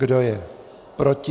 Kdo je proti?